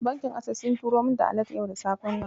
Bankin Ases sun turo min da alat yau da safe nan.